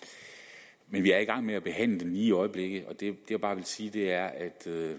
vil vi er i gang med at behandle det lige i øjeblikket og det jeg bare vil sige er at